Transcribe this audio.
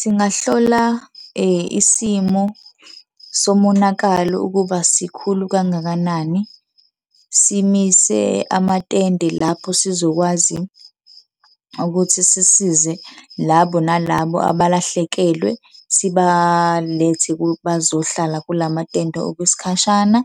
Singahlola isimo somonakalo ukuba sikhulu kangakanani, simise amatende lapho sizokwazi ukuthi sisize labo nalabo abalahlekelwe sibalethe bazohlala kulamatende okwesikhashana.